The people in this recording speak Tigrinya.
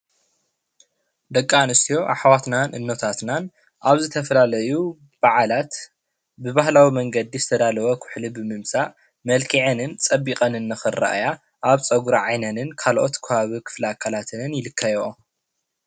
ደቂ ኣንስትዮ ኣሕዋትናን እኖታትናን ኣብ ዝተፈላለዩ በዓላት ብባሃህላዊ መንገዲ ዝተዳለወ ኩሕሊ ብምምፃእ መልኪዐንን ፀቢቀንን ንኽረኣያ ኣብ ፀጉሪ ዓይነንን ካልኦት ከባቢ ክፍለ ኣካላተን ይልከይኦ።